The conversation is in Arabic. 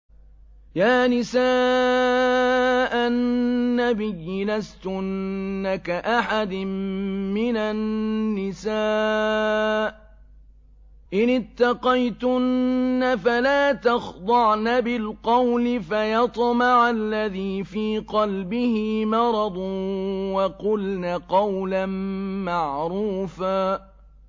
يَا نِسَاءَ النَّبِيِّ لَسْتُنَّ كَأَحَدٍ مِّنَ النِّسَاءِ ۚ إِنِ اتَّقَيْتُنَّ فَلَا تَخْضَعْنَ بِالْقَوْلِ فَيَطْمَعَ الَّذِي فِي قَلْبِهِ مَرَضٌ وَقُلْنَ قَوْلًا مَّعْرُوفًا